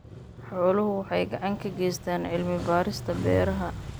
Xooluhu waxay gacan ka geystaan ??cilmi-baarista beeraha.